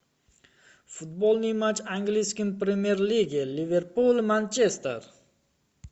футбольный матч английской премьер лиги ливерпуль манчестер